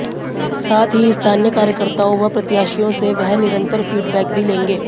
साथ ही स्थानीय कार्यकर्ताओं व प्रत्याशियों से वह निरंतर फीडबैक भी लेंगे